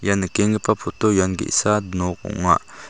ia nikkenggipa poto ian ge·sa nok ong·a.